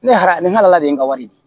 Ne halala ni hala de ye n ka wari di